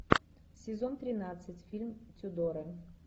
сезон тринадцать фильм тюдоры